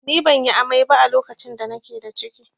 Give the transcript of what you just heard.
Ni ban yi amai ba a lokacin da na ke da ciki